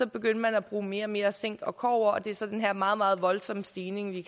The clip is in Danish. begyndte at bruge mere og mere zink og kobber og det er så den her meget meget voldsomme stigning vi